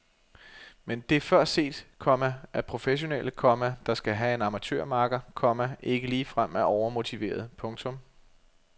Men det er før set, komma at professionelle, komma der skal have en amatørmakker, komma ikke ligefrem er overmotiverede. punktum